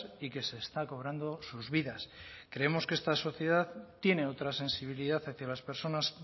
y que se está cobrando sus vidas creemos que esta sociedad tiene otra sensibilidad hacia las personas